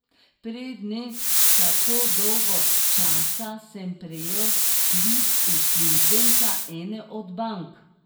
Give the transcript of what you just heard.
Pred ne tako dolgo časa sem prejel klic uslužbenca ene od bank.